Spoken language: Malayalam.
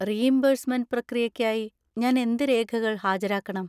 റീഇംബേഴ്‌സ്‌മെന്റ് പ്രക്രിയയ്‌ക്കായി, ഞാൻ എന്ത് രേഖകൾ ഹാജരാക്കണം?